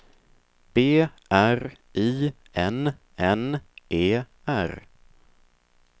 B R I N N E R